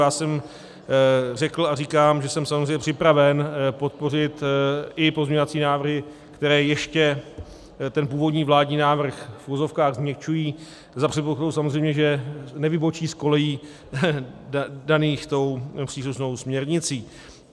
Já jsem řekl a říkám, že jsem samozřejmě připraven podpořit i pozměňovací návrhy, které ještě ten původní vládní návrh v uvozovkách změkčují, za předpokladu samozřejmě, že nevybočí z kolejí daných tou příslušnou směrnicí.